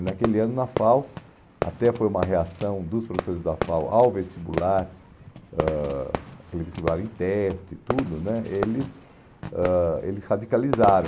E naquele ano, na FAO, até foi uma reação dos professores da FAO ao vestibular ãh, aquele vestibular em teste e tudo né, eles ãh eles radicalizaram.